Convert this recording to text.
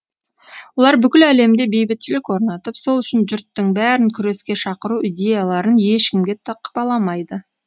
олар бүкіл әлемде бейбітшілік орнатып сол үшін жұрттың бәрін күреске шақыру идеяларын ешкімге тықпаламайды